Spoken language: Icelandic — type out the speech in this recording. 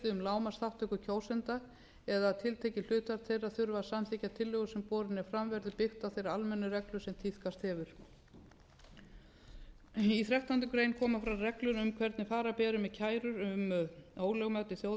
lágmarksþátttöku kjósenda eða að tiltekið hlutfall þeirra þurfi að samþykkja tillögu sem borin er fram verður byggt á þeirri almennu reglu sem tíðkast hefur í þrettándu greinar koma fram reglur um hvernig fara beri með kærur um ólögmæti þjóðaratkvæðagreiðslu þó